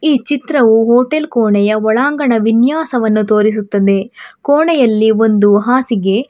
ಈ ಚಿತ್ರವು ಹೋಟೆಲ್ ಕೋಣೆಯ ಒಳಾಂಗಣ ವಿನ್ಯಾಸವನ್ನು ತೋರಿಸುತ್ತದೆ ಕೋಣೆಯಲ್ಲಿ ಒಂದು ಹಾಸಿಗೆ.